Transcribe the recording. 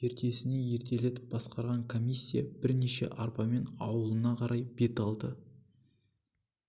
ертесіне ертелетіп басқарған комиссия бірнеше арбамен аулына қарай бет алды